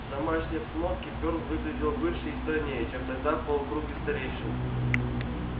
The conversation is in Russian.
в домашней обстановке фёрл выглядел выше и стройнее чем тогда в полукруге старейшин